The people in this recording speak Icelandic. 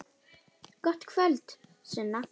Gott kvöld, Sunna.